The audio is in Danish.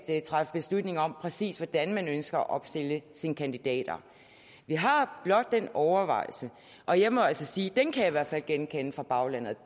at træffe beslutninger om præcis hvordan man ønsker at opstille sine kandidater vi har blot den overvejelse og jeg må altså sige at den kan jeg i hvert fald genkende fra baglandet